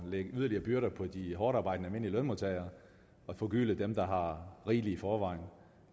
lægge yderligere byrder på de hårdtarbejdende almindelige lønmodtagere og forgylde dem der har rigeligt i forvejen